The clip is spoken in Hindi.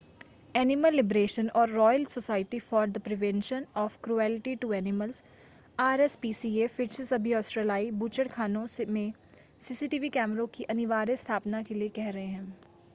एनिमल लिबरेशन और royal society for the prevention of cruelty to animals RSPCA फिर से सभी ऑस्ट्रेलियाई बूचड़खानों में सीसीटीवी कैमरों की अनिवार्य स्थापना के लिए कह रहे हैं।